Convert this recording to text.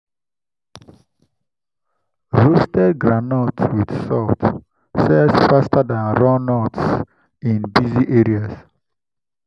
roasted groundnut with salt sells faster than raw nuts in busy areas.